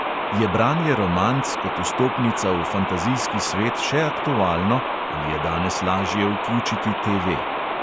Je branje romanc kot vstopnica v fantazijski svet še aktualno ali je danes lažje vključiti TV?